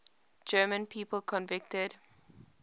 german people convicted